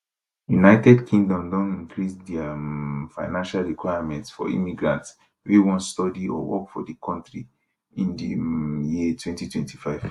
united kingdom don increase dia um financial requirements for immigrants wey wan study or work for di kontri in di um year 2025